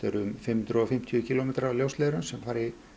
um fimm hundruð og fimmtíu kílómetrar af ljósleiðurum sem fara í